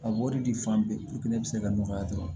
A b'o de fan bɛɛ ne bɛ se ka nɔgɔya dɔrɔn